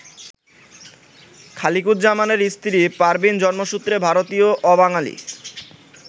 খালিকুজ্জামানের স্ত্রী পারভীন জন্মসূত্রে ভারতীয়, অবাঙালি।